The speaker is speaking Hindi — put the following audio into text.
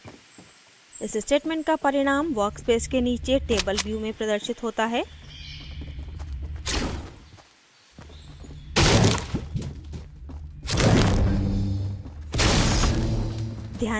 इस statement का परिणाम workspace के नीचे table view में प्रदर्शित होता है